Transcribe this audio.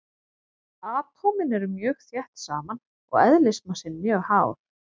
Atómin eru mjög þétt saman og eðlismassinn mjög hár.